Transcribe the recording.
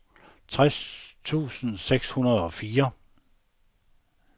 tres tusind seks hundrede og fire